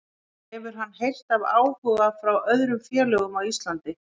Hefur hann heyrt af áhuga frá öðrum félögum á Íslandi?